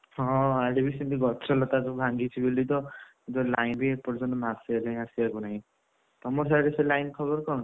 ହଁ ଆଡେ ବି ସେମିତିଗଛ ଲତା ସବୁଭାଙ୍ଗିଛି ବୋଲି ତ breath ଏବେ line ବି ଏପର୍ଯ୍ୟନ୍ତ ମାସେ ଦି ମାସେ ହେଲାଇଁ ତମର ସାଡ଼େ ସେ line ଖବର କଣ?